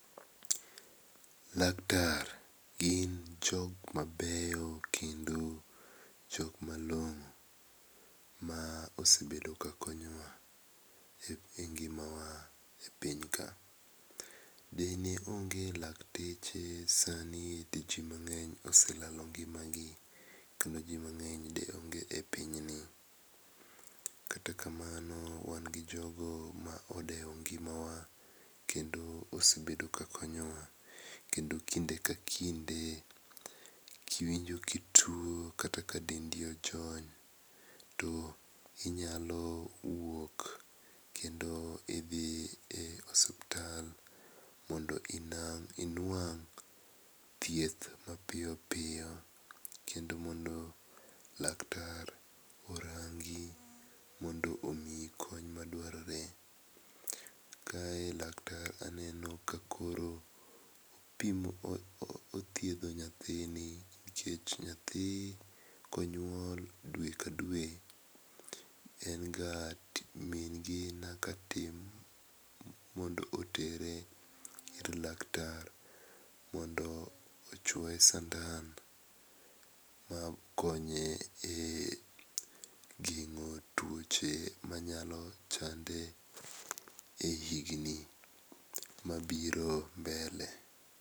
Laktar gin jok mabeyo kendo jok malong'o ma osebedo ka konyowa e ngimawa e piny ka. Dine onge lakteche sani di ji mang'eny oselalo ngimagi kendo ji mang'eny de onge e piny ni. Kata kamano, wan gi jogo ma odewo ngimawa kendo osebedo ka konyowa, kendo kinde ka kinde kiwinjo ka ituo kata ka dendi ojony to inyalo wuok kendo idhi e osiptal mondo inuang' thieth mapiyo piyo kendo mondo laktar orangi mondo omiyi kony madwarore. Kae laktar aneno ka koro othiedho nyathini nikech nyathi konyuol dwe kdwe min gi nyaka tem mondo otere ir laktar mondo ochuoye sandan makonye e geng'o tuoche manyalo chande e higni mabiro mbele.